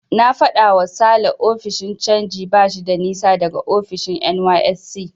Na faɗawa Sale ofishin canji bashi da nisa daga ofishin NYSC.